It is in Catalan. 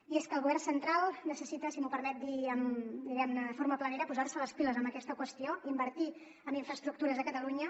i és que el govern central necessita si m’ho permet dir diguem ne de forma planera posar se les piles en aquesta qüestió invertir en infraestructures a catalunya